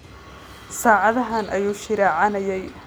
Saacadahaan ayuu shiraacanayay